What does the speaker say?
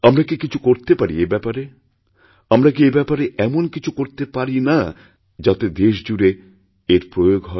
আমরা কি কিছু করতে পারি এ ব্যাপারে আমরা কি এ ব্যাপারে এমনকিছু করতে পারি না স্যার যাতে দেশ জুড়ে এর প্রয়োগ হয়